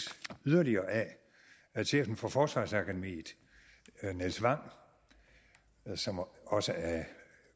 yderligere af at chefen for forsvarsakademiet nils wang som også er